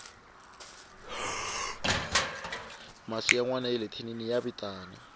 masi ya nwana yale thinini ya vitana